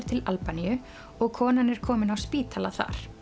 til Albaníu og konan er komin á spítala þar